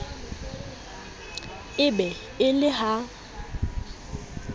e be e le ha